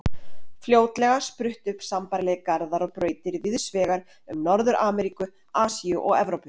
Fljótlega spruttu upp sambærilegir garðar og brautir víðs vegar um Norður-Ameríku, Asíu og Evrópu.